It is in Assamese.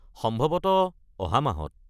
সম্ভৱতঃ অহা মাহত।